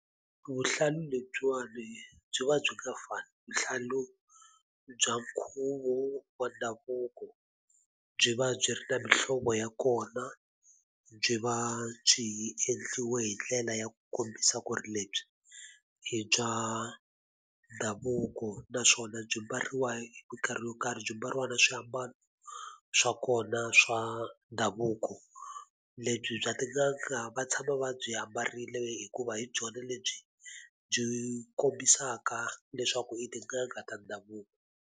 Vuhlalu lebyiwani byi va byi nga fani. Vuhlalu bya nkhuvo wa ndhavuko, byi va byi ri na mihlovo ya kona, byi va byi endliwe hi ndlela ya ku kombisa ku ri lebyi i bya ndhavuko. Naswona byi mbariwa hi minkarhi yo karhi byi mbariwa na swiambalo swa kona swa ndhavuko. Lebyi bya tin'anga va tshama va byi ambarile hikuva hi byona lebyi byi kombisaka leswaku i tin'anga ta ndhavuko.